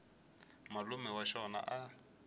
malume wa xona a a